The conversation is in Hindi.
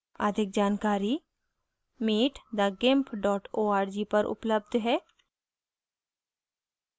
अधिक जानकारी